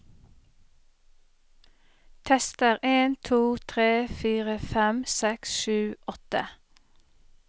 Tester en to tre fire fem seks sju åtte